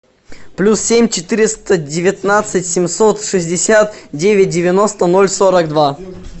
плюс семь четыреста девятнадцать семьсот шестьдесят девять девяносто ноль сорок два